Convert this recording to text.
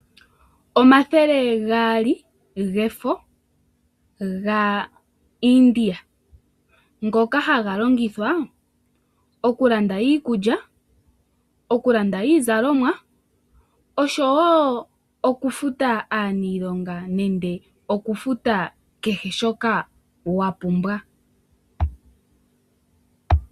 Omathele gaali gefo gaIdia. Ngoka haga longithwa okulanda iikulya, oku landa iizalomwa, osho woo okufuta aanilonga nenge okufuta kehe shoka wapumbwa